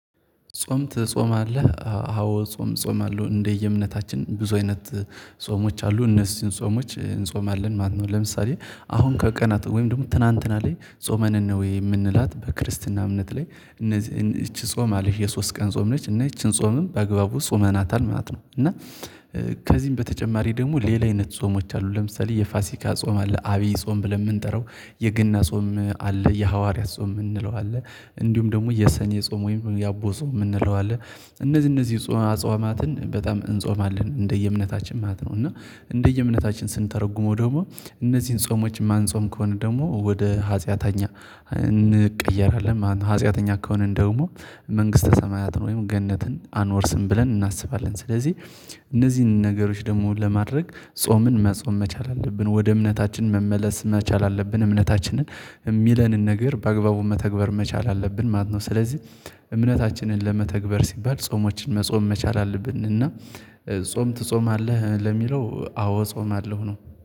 ጾም ትጾማለህ? አዎ ጾም እጾማለሁ እንደየእምነታችን ብዙ አይነት ጾሞች አሉ እነሱን ጾሞች እንጾማለን ማለት ነው ለምሳሌ አሁን ከቀናት ወይም ደግሞ ትላንትና ላይ ጾመ ነነዌ የምንላት በክርስትና እምነት ላይ እነዚህ ይቺ ጾም አለች የሶስት ቀን ጾም ነች እና ይቺን ጾምም በአግባቡ ጾመናታል ማለት ነው እና ከዚህም በተጨማሪ ደግሞ ሌላ አይነት ጾሞች አሉ ለምሳሌ የፋሲካ ጾም አለ አብይ ጾም ብለን የምንጠራው የገና ጾም አለ የሐዋርያት ጾም የምንለው አለ እንዲሁም ደግሞ የሰኔ ጾም ወይም የአቦ ጾም የምንለው አለ እነዚህ እነዚህ አጿማትን በጣም እንጾማለን እንደየ እምነታችን ማለት ነው እና እንደየ እምነታችን ስንተረጉመው ደግሞ እነዚህን ጾሞች የማንጾም ከሆነ ደግሞ ወደ ሀጢያተኛ እንቀየራለን ማለት ነው ሀጢያተኛ ከሆንን ደግሞ መንግስተ ሰማያትን ወይም ገነትን አንወርስም ብለን እናስባለን ስለዚህ እነዚህን ነገሮች ደግሞ ለማድረግ ጾምን መጾም መቻል አለብን ወደ እምነታችን መመለስ መቻል አለብን እምነታችንን የሚለንን ነገር በአግባቡ መተግበር መቻል አለብን ማለት ነው ስለዚህ እምነታችንን ለመተግበር ሲባል ጾሞችን መጾም መቻል አለብንና ጾም ትጾማለህ ለሚለው አዎ እጾማለሁ ነው